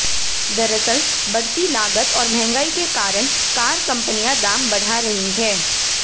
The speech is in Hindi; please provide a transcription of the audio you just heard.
दरअसल बढ़ती लागत और महंगाई के कारण कार कंपनियां दाम बढ़ा रही हैं